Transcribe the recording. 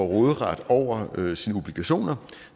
råderet over sine obligationer